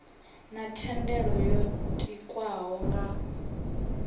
na thendelo yo tikwaho nga